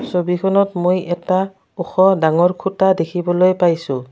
ছবিখনত মই এটা ওখ ডাঙৰ খুঁটা দেখিবলৈ পাইছোঁ।